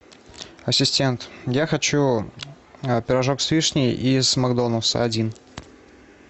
ассистент я хочу пирожок с вишней из макдональдса один